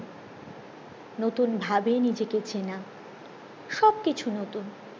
নতুন ভাবে নিজেকে চেনা সব কিছু নতুন